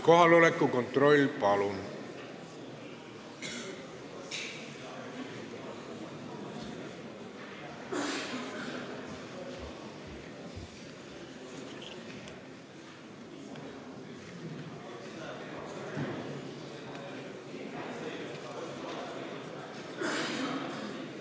Kohaloleku kontroll, palun!